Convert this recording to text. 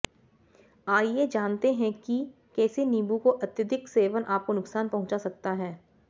आइए जानते हैं कि कैसे नींबू का अत्यधिक सेवन आपको नुकसान पहुंचा सकता हैं